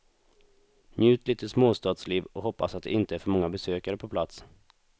Njut lite småstadsliv och hoppas att det inte är för många besökare på plats.